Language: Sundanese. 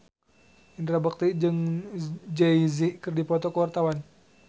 Indra Bekti jeung Jay Z keur dipoto ku wartawan